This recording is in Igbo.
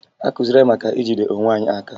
Akụziri anyị maka ijide onwe anyị aka